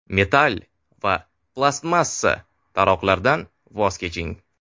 Metall va plastmassa taroqlardan voz keching.